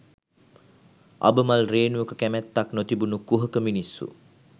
අබමල් රේණුවක කැමැත්තක් නොතිබුණු කුහක මිනිස්සු